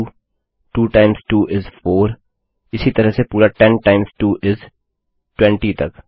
2 times 2 is 4 इसी तरह से पूरा 10 टाइम्स 2 इस 20 तक